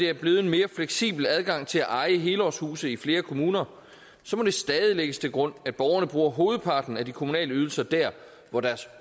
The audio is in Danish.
er blevet en mere fleksibel adgang til at eje helårshuse i flere kommuner må det stadig lægges til grund at borgerne bruger hovedparten af de kommunale ydelser der hvor deres